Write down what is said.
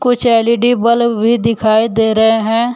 कुछ L E D bulb भी दिखाई दे रहे हैं।